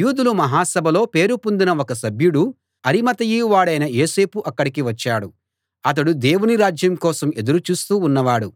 యూదుల మహా సభలో పేరు పొందిన ఒక సభ్యుడు అరిమతయి వాడైన యోసేపు అక్కడికి వచ్చాడు అతడు దేవుని రాజ్యం కోసం ఎదురు చూస్తూ ఉన్నవాడు